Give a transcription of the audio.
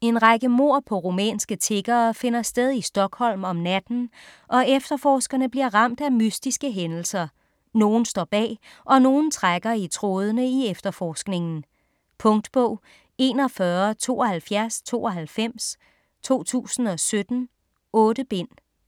En række mord på rumænske tiggere finder sted i Stockholm om natten, og efterforskerne bliver ramt af mystiske hændelser. Nogen står bag - og nogen trækker i trådende i efterforskningen. Punktbog 417292 2017. 8 bind.